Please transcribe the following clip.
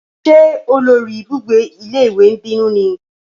Ṣé olórí ibùgbé ilé ìwé ń bínú ni?